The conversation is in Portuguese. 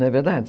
Não é verdade?